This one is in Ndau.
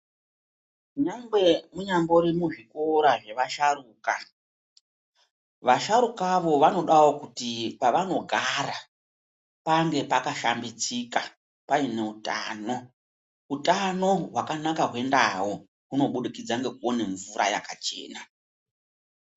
Nyangwe unyangori kuzvikora zvevasharukwa vasharukwa avo vanodawo kuti pavanogara Pange pakashambidzika pane hutano Hutano hwakanaka kwendau kunobudikidza nekuona mvura yakachena.